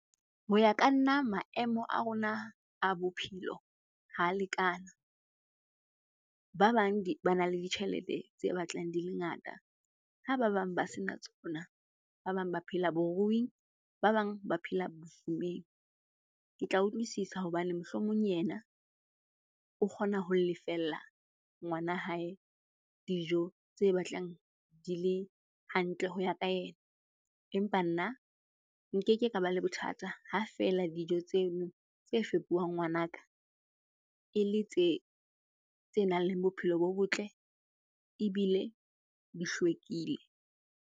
Ho ya ka nna maemo a rona a bophelo ha lekana. Ba bang ba na le ditjhelete tse batlang di le ngata, ha ba bang ba sena tsona. Ba bang ba phela boruing, ba bang ba phela bofumeng. Ke tla utlwisisa hobane mohlomong yena o kgona ho lefella ngwana hae dijo tse batlang di le hantle ho ya ka yena. Empa nna nkeke ka ba le bothata ha feela dijo tseno tse fepuwang ngwanaka e le tse nang le bophelo bo botle ebile di hlwekile.